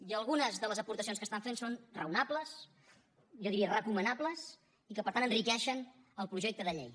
i algunes de les aportacions que estan fent són raonables jo diria recomanables i que per tant enriqueixen el projecte de llei